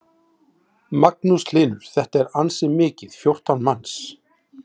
Magnús Hlynur: Þetta er ansi mikið, fjórtán manns?